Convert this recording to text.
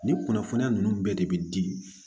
Nin kunnafoniya ninnu bɛɛ de bɛ di